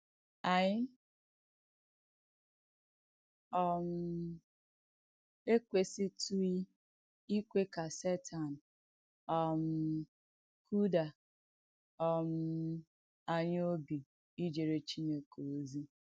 Ànyị̣ um èkwèsìtùghì ìkwè kà Sètàǹ um kùdà um ànyị̣ òbì ìjèrè Chìnèkè òzì.